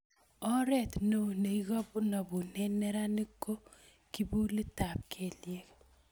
Oret neo neikonobune neranik ko kipulitab kelyek